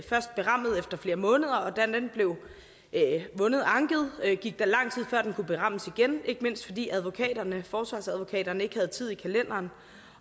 først berammet efter flere måneder og da den blev anket gik der lang tid før den kunne berammes igen ikke mindst fordi forsvarsadvokaterne ikke havde tid i kalenderen